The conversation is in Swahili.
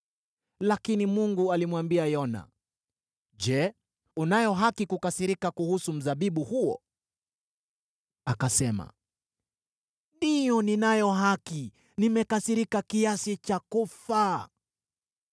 Lakini Mungu alimwambia Yona, “Je, unayo haki kukasirika kuhusu mzabibu huo?” Akasema, “Ndiyo, ninayo haki. Nimekasirika kiasi cha kufa.”